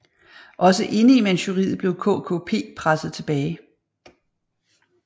Også inde i Manchuriet blev KKP presset tilbage